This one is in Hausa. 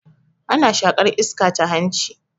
Ana shaƙar iska ta hanci